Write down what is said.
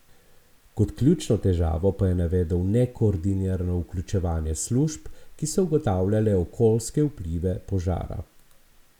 Kot ključno težavo pa je navedel nekoordinirano vključevanje služb, ki so ugotavljale okoljske vplive požara.